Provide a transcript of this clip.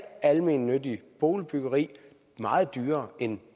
almennyttigt boligbyggeri meget dyrere end